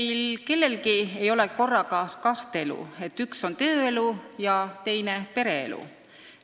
Meil kellelgi ei ole korraga kaht elu, et üks on tööelu ja teine pereelu.